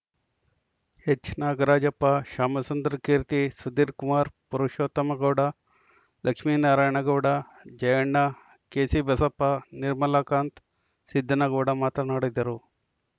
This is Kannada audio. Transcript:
ಎಚ್‌ನಾಗರಾಜಪ್ಪ ಶ್ಯಾಮಸುಂದರ್‌ ಕೀರ್ತಿ ಸುಧೀರ್‌ಕುಮಾರ್‌ ಪುರುಷೋತ್ತಮಗೌಡ ಲಕ್ಷ್ಮೀನಾರಾಯಣ ಗೌಡ ಜಯಣ್ಣ ಕೆಸಿ ಬಸಪ್ಪ ನಿರ್ಮಲಕಾಂತ್‌ ಸಿದ್ದನಗೌಡ ಮಾತನಾಡಿದರು